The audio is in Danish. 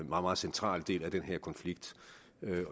meget central del af den her konflikt